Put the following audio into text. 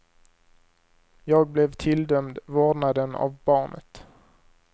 Jag blev tilldömd vårdnaden av barnet.